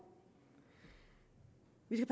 vi